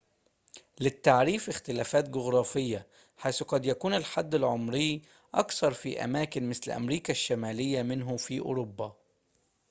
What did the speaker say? للتعريف اختلافات جغرافية حيث قد يكون الحد العمري أقصر في أماكن مثل أمريكا الشمالية منه في أوروبا